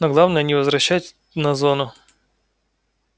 но главное не возвращать на зону